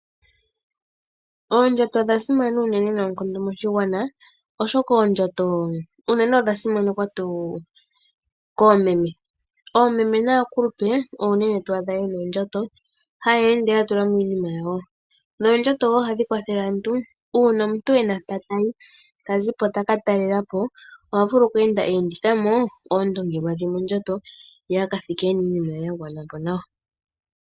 Oondjato odha simana uunene noonkondo moshigwana, oshoka oondjota uunene odha simanekwa tuu koomeme. Oomeme naakulupe oyo uunene twadha yena oondjato, haya ende ya tulamo iinima yawo, noondjato wo ohadhi kwathele aantu uuna omuntu ena mpoka tayi , ta zipo taka talelapo, oha vulu oku endithamo oondongelwa dhe mondjato ye aka thike ena iinima ye ya gwanapo.